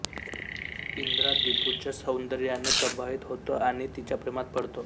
इंद्रा दीपूच्या सौंदर्याने प्रभावित होतो आणि तिच्या प्रेमात पडतो